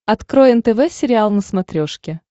открой нтв сериал на смотрешке